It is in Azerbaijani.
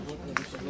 Anlaşılmazdır.